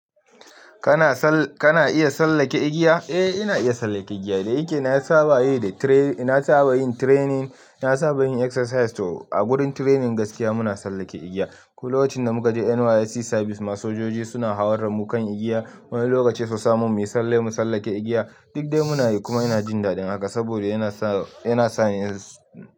Kana iya sallake igiya? Eh ina iya sallake igiya. Da yake na saba yin training, na saba yin exercise. To a gurin training gaskiya muna sallake igiya. Ko lokacin da muka je NYSC service ma, sojoji suna hawar da mu igiya, wani lokaci su sa mu muyi salle mu sallake igiya. Duk dai muna yi kuma ina jin dadin haka saboda yana sa yana sa ni.